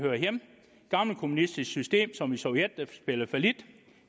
gammelkommunistisk system som i sovjet der spillede fallit